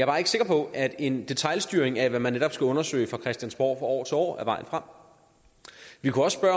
bare ikke sikker på at en detailstyring af hvad man netop skal undersøge fra christiansborg fra år til år er vejen frem vi kunne også